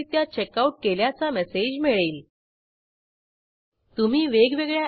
येथे checkout table मधून परत केलेल्या पुस्तकाची नोंद काढून टाकण्यासाठी ही क्वेरी कार्यान्वित करू